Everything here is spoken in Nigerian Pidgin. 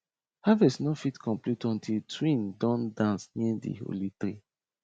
harvest nor fit complete until twin don dance near thee holy tree